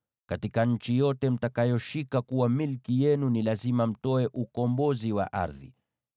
Katika nchi yote mtakayoshika kuwa milki yenu, ni lazima mtoe ukombozi wa ardhi.